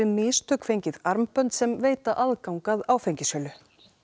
mistök fengið armbönd sem veita aðgang að áfengissölu